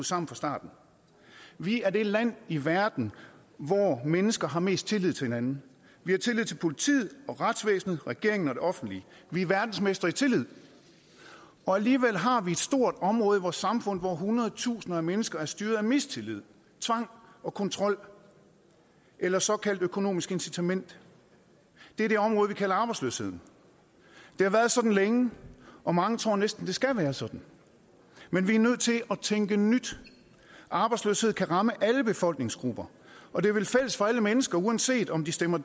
sammen fra starten vi er det land i verden hvor mennesker har mest tillid til hinanden vi har tillid til politiet og retsvæsenet regeringen og det offentlige vi er verdensmestre i tillid alligevel har vi et stort område i vores samfund hvor hundredtusinder af mennesker er styret af mistillid tvang og kontrol eller såkaldte økonomiske incitamenter det er det område vi kalder arbejdsløshed det har været sådan længe og mange tror næsten at det skal være sådan men vi er nødt til at tænke nyt arbejdsløshed kan ramme alle befolkningsgrupper og det er vel fælles for alle mennesker uanset om de stemmer